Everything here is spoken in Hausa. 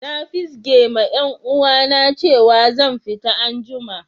Na fizge ma yan uwa na cewa zan fita an'jumma.